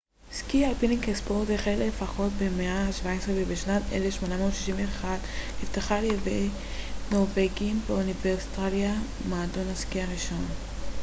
סקי אלפיני כספורט החל לפחות במאה ה -17 ובשנת 1861 נפתח ע י נורבגים באוסטרליה מועדון הסקי הראשון